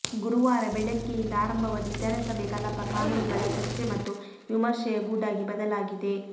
ಗುರುವಾರ ಬೆಳಗ್ಗೆಯಿಂದ ಆರಂಭವಾದ ವಿಧಾನಸಭೆ ಕಲಾಪ ಕಾನೂನುಗಳ ಚರ್ಚೆ ಮತ್ತು ವಿಮರ್ಶೆಯ ಗೂಡಾಗಿ ಬದಲಾಗಿದೆ